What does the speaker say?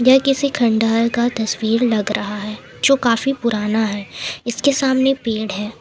यह किसी खंडहर का तस्वीर लग रहा है जो काफी पुराना है इसके सामने पेड़ है।